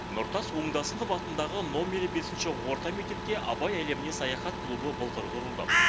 нұртас оңдасынов атындағы номері бесінші орта мектепте абай әлеміне саяхат клубы былтыр құрылды